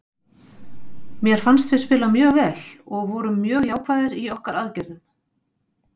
Mér fannst við spila mjög vel og vorum mjög jákvæðir í okkar aðgerðum.